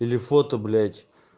или фото блядь